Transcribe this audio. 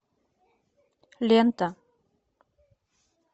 лента